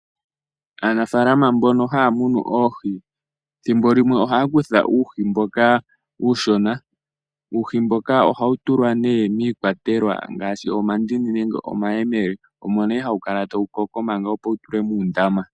Aanafaalama mbono haya munu oohi thimbo limwe ohaya kutha uuhi mboka uushona. Uuhi mboka ohawu tulwa nee miikwatelwa ngaashi omandini nenge omayemele, omo nduno hawu kala tawu koko, opo wu tulwe muundama.